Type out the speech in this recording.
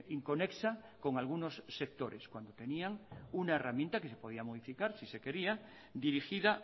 inconexa con algunos sectores cuando tenían una herramienta que se podía modificar si se quería dirigida